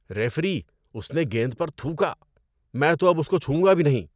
Referee, اس نے گیند پر تھوکا۔ میں تو اب اس کو چھوؤں گا بھی نہیں۔